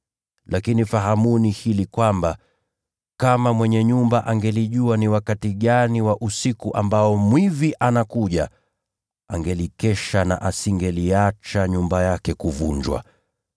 Lakini fahamuni jambo hili: Kama mwenye nyumba angejua ni wakati gani wa usiku ambao mwizi atakuja, angekesha na hangekubali nyumba yake kuvunjwa.